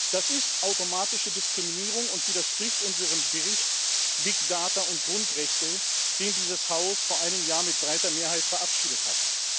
Das ist automatische Diskriminierung und widerspricht unserem Bericht über Big Data und Grundrechte, den dieses Haus vor einem Jahr mit breiter Mehrheit verabschiedet hat.